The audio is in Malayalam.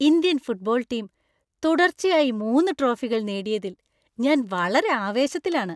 ഇന്ത്യൻ ഫുട്ബോൾ ടീം തുടർച്ചയായി മൂന്ന് ട്രോഫികൾ നേടിയതിൽ ഞാൻ വളരെ ആവേശത്തിലാണ്.